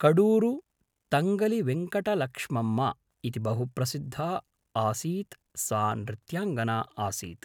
कडूरु तङ्गलिवेङ्कटलक्ष्मम्म इति बहु प्रसिद्धा असीत् सा नृत्याङ्गना आसीत्